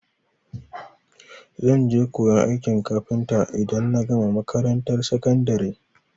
Zan je koyan aikin kafinta idan na gama makarantar sakandari.